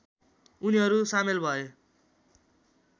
उनीहरू सामेल भए